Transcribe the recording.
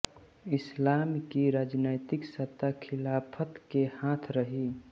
इस्लाम की राजनैतिक सत्ता खिलाफ़त के हाथ रही